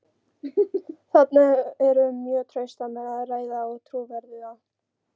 Þarna er um mjög trausta menn að ræða og trúverðuga.